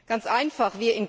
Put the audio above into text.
Ganz einfach.